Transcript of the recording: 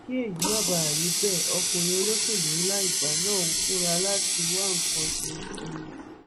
kí èyí má bàa rí bẹẹ ọkùnrin olóṣèlú ńlá ìgbà náà múra láti wá nǹkan ṣe sí i